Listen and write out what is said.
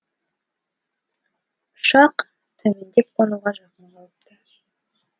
ұшақ төмендеп қонуға жақын қалыпты